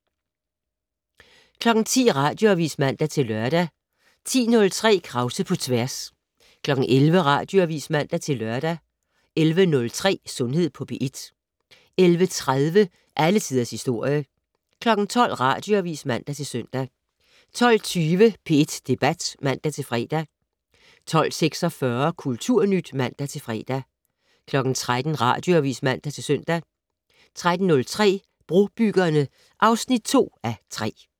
10:00: Radioavis (man-lør) 10:03: Krause på tværs 11:00: Radioavis (man-lør) 11:03: Sundhed på P1 11:30: Alle Tiders Historie 12:00: Radioavis (man-søn) 12:20: P1 Debat (man-fre) 12:46: Kulturnyt (man-fre) 13:00: Radioavis (man-søn) 13:03: Brobyggerne (2:3)